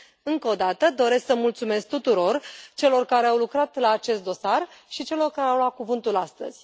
Încă o dată, doresc să le mulțumesc tuturor celor care au lucrat la acest dosar și celor care au luat cuvântul astăzi.